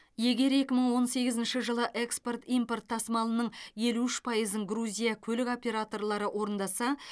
егер екі мың он сегізінші жылы экспорт импорт тасымалының елу үш пайызын грузия көлік операторлары орындаса